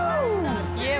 ég